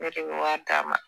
Ne de bɛ wari d'a ma